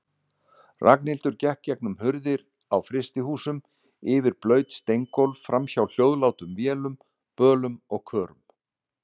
Ragnhildur gekk gegnum hurðir á frystihúsum, yfir blaut steingólf, framhjá hljóðlátum vélum, bölum og körum.